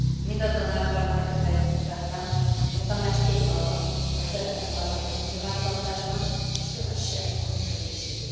Mindazonáltal már kifejtettem, hogy a Tanács kész arra, hogy szerepet vállaljon a nyilvántartásban és kövesse a működését.